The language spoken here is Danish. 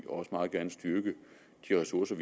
og også meget gerne styrke de ressourcer